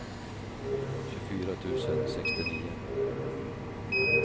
tjugofyra tusen sextionio